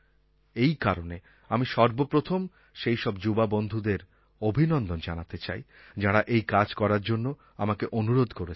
এই কারণে আমি সর্বপ্রথম সেই সব যুবা বন্ধুদের অভিনন্দন জানাতে চাই যাঁরা এই কাজ করার জন্য আমাকে অনুরোধ করেছেন